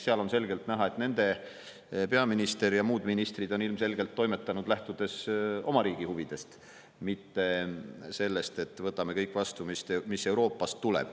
Seal on selgelt näha, et nende peaminister ja muud ministrid on ilmselgelt toimetanud, lähtudes oma riigi huvidest, mitte sellest, et võtame vastu kõik, mis Euroopast tuleb.